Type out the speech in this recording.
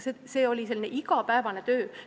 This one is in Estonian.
See oli igapäevane töö.